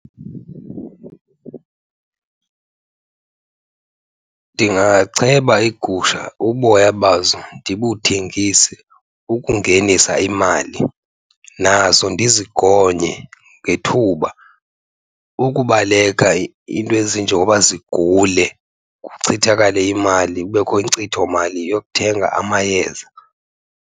Ndingacheba iigusha uboya bazo ndibuthengise ukungenisa imali. Nazo ndizigonye ngethuba ukubaleka iinto ezinjengoba zigule kuchithakale imali, kubekho inkcithomali yokuthenga amayeza.